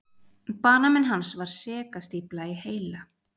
Banamein hans var segastífla í heila.